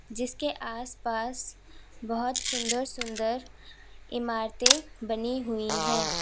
जिसके आसपास बहुत सुंदर सुंदर इमारते बनी हुई हैं।